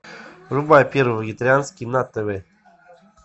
врубай первый вегетарианский на тв